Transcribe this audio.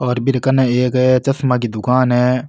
और बिरकने एक चश्मा की दुकान है।